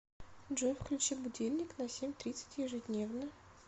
джой включи будильник на семь тридцать ежедневно